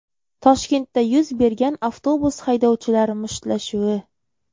Toshkentda yuz bergan avtobus haydovchilari mushtlashuvi .